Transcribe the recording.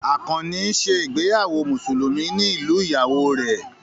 Àkànnì ń ṣe ìgbéyàwó Mùsùlùmí ní ìlú ìyàwó rẹ̀